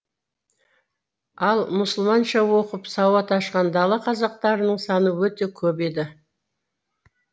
ал мұсылманша оқып сауат ашқан дала қазақтарының саны өте көп еді